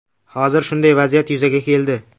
Hozir shunday vaziyat yuzaga keldi.